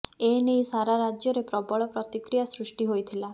ଏ ନେଇ ସାରା ରାଜ୍ୟରେ ପ୍ରବଳ ପ୍ରତିକ୍ରିୟା ସୃଷ୍ଟି ହୋଇଥିଲା